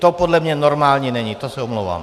To podle mě normální není, to se omlouvám.